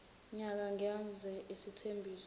nyaka ngenza isethembiso